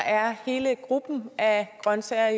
er hele gruppen af grønsager